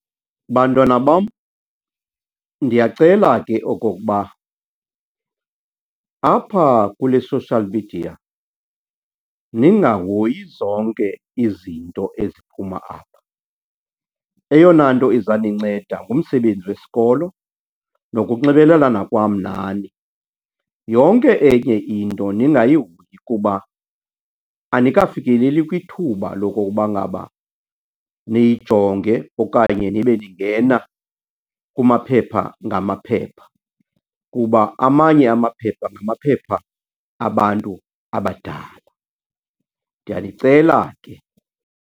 Bantwana bam, ndiyacela ke okokuba apha kule social media ningahoyi zonke izinto eziphuma apha. Eyona nto iza ninceda ngumsebenzi wesikolo nokunxibelelana kwam nani. Yonke enye into ningayihoyi kuba anikafikeleli kwithuba lokokuba ngaba niyijonge okanye nibe ningena kumaphepha ngamaphepha kuba amanye amaphepha ngamaphepha abantu abadala. Ndiyanicela ke.